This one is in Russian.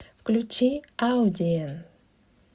включи аудиэн